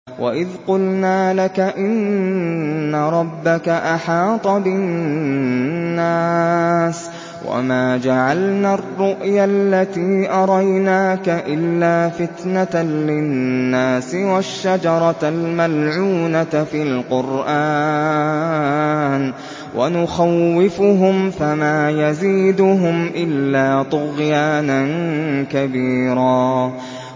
وَإِذْ قُلْنَا لَكَ إِنَّ رَبَّكَ أَحَاطَ بِالنَّاسِ ۚ وَمَا جَعَلْنَا الرُّؤْيَا الَّتِي أَرَيْنَاكَ إِلَّا فِتْنَةً لِّلنَّاسِ وَالشَّجَرَةَ الْمَلْعُونَةَ فِي الْقُرْآنِ ۚ وَنُخَوِّفُهُمْ فَمَا يَزِيدُهُمْ إِلَّا طُغْيَانًا كَبِيرًا